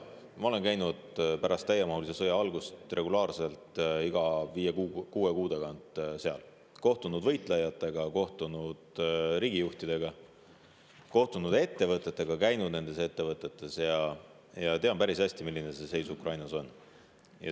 Mina olen seal käinud pärast täiemahulise sõja algust regulaarselt iga viie‑kuue kuu tagant, olen kohtunud võitlejatega, riigijuhtidega ja ettevõtetega, käinud nendes ettevõtetes ja tean päris hästi, milline seis Ukrainas on.